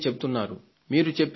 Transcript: మీరు చెప్పేది నిజమే